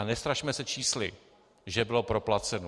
A nestrašme se čísly, že bylo proplaceno.